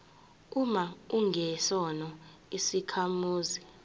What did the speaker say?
uma ungesona isakhamuzi